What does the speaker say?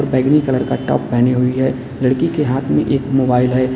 बैंगनी कलर का टॉप पहनी हुई है लड़की के हाथ में एक मोबाइल है।